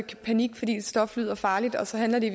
panik fordi et stof lyder farligt og så handler det